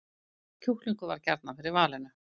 Kjúklingur varð gjarnan fyrir valinu